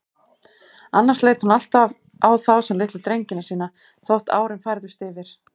Annars leit hún alltaf á þá sem litlu drengina sína, þótt árin færðust yfir þá.